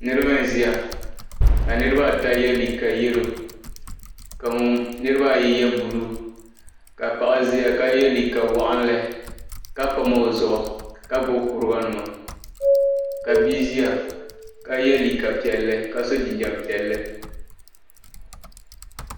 Niriba n-ʒiya ka niriba ata ye liiga yelo ka niriba ayi ye buluu ka paɣa ʒiya ka ye liiga waɣinli ka pam o zuɣu ka gbubi kuriganima ka bia ʒiya ka ye liiga piɛlli ka so jinjam piɛlli.